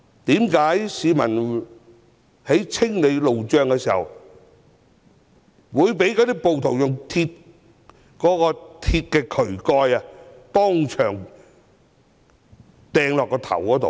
為何市民清理路障時會被暴徒用鐵渠蓋擲向頭部？